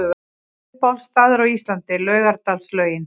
Uppáhalds staður á Íslandi: Laugardalslaugin